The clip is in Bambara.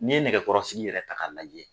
Ni ye nɛgɛkɔrɔsigi yɛrɛ ta ka lajɛ